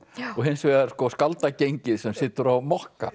og hins vegar sem situr á mokka